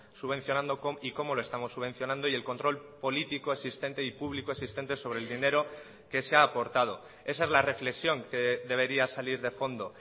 subvencionando y cómo lo estamos subvencionando y el control político existente y público existente sobre el dinero que se ha aportado esa es la reflexión que debería salir de fondo